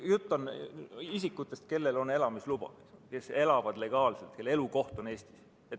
Jutt on isikutest, kellel on elamisluba, kes elavad legaalselt siin, kelle elukoht on Eestis.